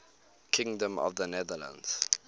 kingdom of the netherlands